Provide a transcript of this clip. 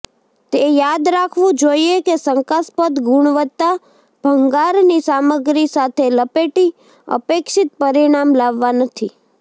તે યાદ રાખવું જોઈએ કે શંકાસ્પદ ગુણવત્તા ભંગારની સામગ્રી સાથે લપેટી અપેક્ષિત પરિણામ લાવવા નથી